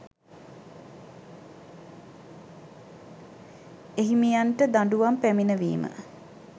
එහිමියන්ට දඬුවම් පැමිණවීම